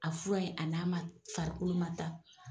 A fura ye a na ma farikolo ma ta.